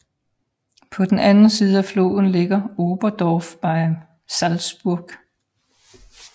På den anden side af floden ligger Oberndorf bei Salzburg